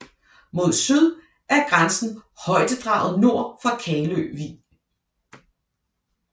Mod syd er grænsen højdedraget nord for Kalø Vig